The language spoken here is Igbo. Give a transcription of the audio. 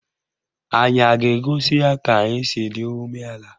Anyị a ga-egosi ya ka anyị si dị umeala?